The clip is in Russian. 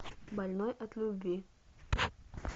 больной от любви